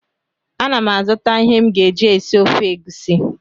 Ana m azụta ihe m ga-eji esi ofe egusi